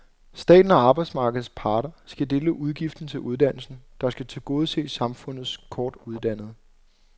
Staten og arbejdsmarkedets parter skal dele udgiften til uddannelsen, der skal tilgodese samfundets kortuddannede.